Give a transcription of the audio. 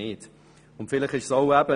wir haben aber keine solchen.